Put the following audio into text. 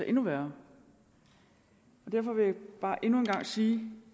endnu værre derfor vil jeg bare endnu en gang sige